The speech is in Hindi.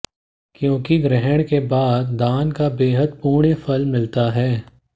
क्योंकि ग्रहण के बाद दान का बेहद पुण्य फल मिलता है